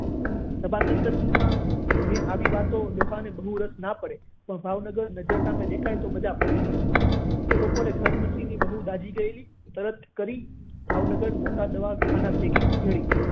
સભા સર્કસ માં જે આવી વાતો ડોહા ને ખબર જ ના પડે ભાવનગર જો નજર સામે દેખાય એમ રાખવા પડે એ બપોરે બકુમાસી ની વહુ દાઝી ગયેલી તરત કરી ભાવનગર મોટા દવાખાના ભેગી કરી